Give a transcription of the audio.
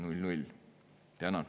Tänan!